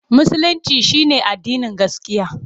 Musulinci shi ne addinin gaskiya.